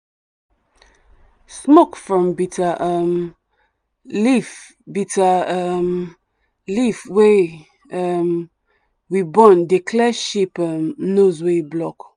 smoke from bitter um leaf bitter um leaf wey um we burn dey clear sheep um nose wey block.